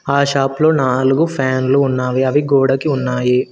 ఆ షాప్ లో నాలుగు ఫ్యాన్లు ఉన్నావి అవి గోడకి ఉన్నాయి.